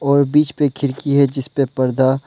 और बीच पे खिड़की है जिसपे पर्दा--